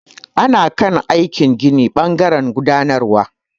Ana kan aikin gina ɓangaren gudanarwar.